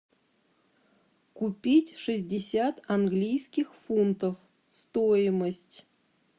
купить шестьдесят английских фунтов стоимость